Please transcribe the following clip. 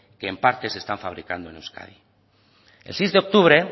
que en parte se están fabricando en euskadi el seis de octubre